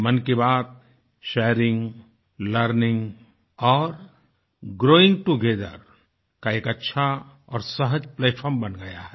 मन की बात शेयरिंग लर्निंग और ग्रोइंग टोगेथर का एक अच्छा और सहज प्लैटफार्म बन गया है